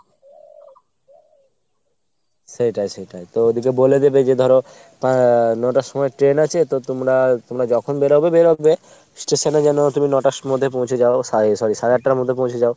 সেইটাই সেইটাই। তো ওদিকে বলে দেবে যে ধরো আহ ন'টার সময় train আছে তো তোমরা তোমরা যখন বেরোবে বেরোবে। station এ যেন তুমি ন'টার মধ্যে পৌঁছে যাও সাড়ে~ sorry সাড়ে আটটার মধ্যে পৌঁছে যাও।